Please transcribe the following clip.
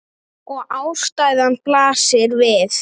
Og ástæðan blasir við.